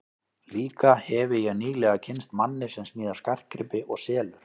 Líka hefi ég nýlega kynnst manni sem smíðar skartgripi og selur.